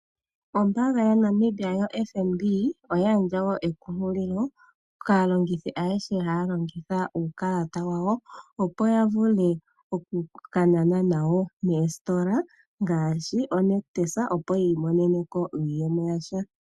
Ombaanga yaNamibia yaFNB oya gandja woo ekunkililo kaalongithi ayehe haya longitha uukalata wawo opo ya vule oku ka nana nawo moositola ngaashi oNictus opo yi imonene ko iiyemo yasha.